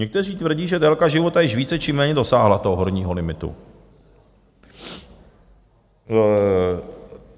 Někteří tvrdí, že délka života již více či méně dosáhla toho horního limitu.